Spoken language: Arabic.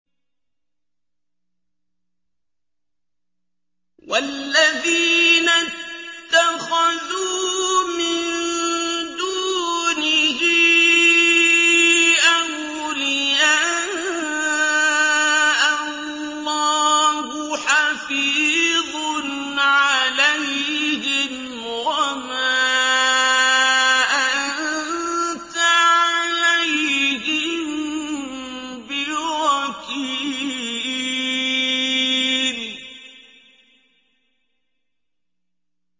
وَالَّذِينَ اتَّخَذُوا مِن دُونِهِ أَوْلِيَاءَ اللَّهُ حَفِيظٌ عَلَيْهِمْ وَمَا أَنتَ عَلَيْهِم بِوَكِيلٍ